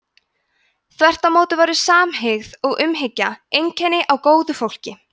þvert á móti væru samhygð og umhyggja einkenni á góðu fólki